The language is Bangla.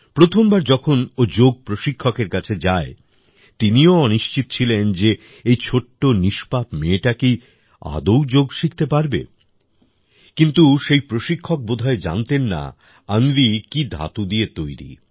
প্রথমবার যখন ও যোগ প্রশিক্ষকের কাছে যায় তিনিও অনিশ্চিত ছিলেন যে এই ছোট্ট নিষ্পাপ মেয়েটা কি আদৌ যোগ শিখতে পারবে কিন্তু সেই প্রশিক্ষক বোধ হয় জানতেন না অন্বির কি ধাতু দিয়ে তৈরী